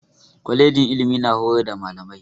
Kwalejin ilimi na horar da malamai.